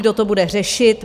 Kdo to bude řešit?